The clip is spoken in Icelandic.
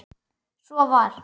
Svo var.